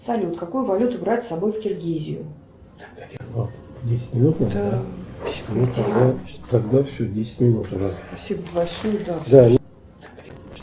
салют какую валюту брать с собой в киргизию